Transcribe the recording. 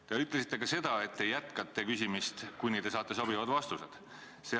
Te ütlesite ka seda, et te jätkate küsimist, kuni te saate sobivad vastused.